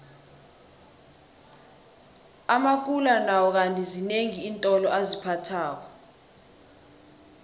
amakula nawo kandi zinengi iintolo aziphathako